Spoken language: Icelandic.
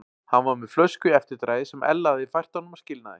Hann var með flösku í eftirdragi sem Ella hafði fært honum að skilnaði.